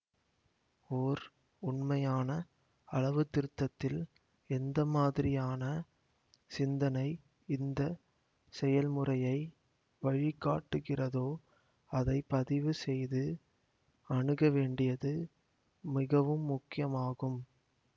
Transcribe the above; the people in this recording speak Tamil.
ஓர் உண்மையான அளவு திருத்தத்தில் எந்தமாதிரியான சிந்தனை இந்த செயல்முறையை வழிகாட்டுகிறதோ அதை பதிவுசெய்து அணுக வேண்டியது மிகவும் முக்கியமாகும்